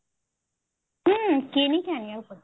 ହୁଁ କିଣିକି ଆଣିବାକୁ ପଡିବ